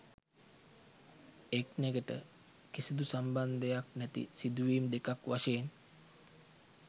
එක්නෙකට කිසිදු සම්බන්ධයක් නැති සිදුවීම් දෙකක් වශයෙන්